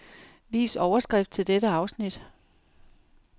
Vis overskrift til dette afsnit.